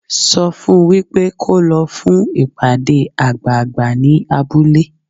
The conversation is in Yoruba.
Sọ fun wípé kó lọ fún ìpàdé àgbààgbà ní abúlé.